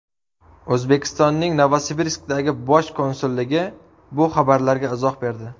O‘zbekistonning Novosibirskdagi Bosh konsulligi bu xabarlarga izoh berdi.